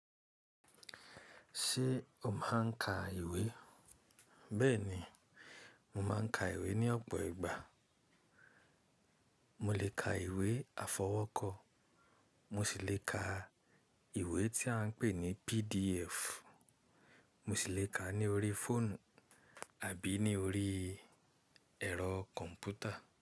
Ṣé o máa ń ka ìwé? Bẹ́ẹ̀ ni, mo máa ń ka ìwé ní ọ̀pọ̀ ìgbà. Mo lè ka ìwé afọwọ́kọ. Mo sì lè ka ìwé tí a ń pè ní PDF. Mo sì lè ka ní orí fóònù àbí ní orí ẹ̀rọ kọ̀m̀pútà.